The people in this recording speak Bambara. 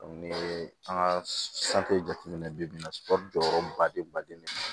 ni an ka jateminɛ bi-bi in na jɔyɔrɔba de baden de